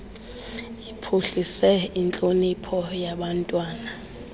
iphuhlise intlonipho yabantwana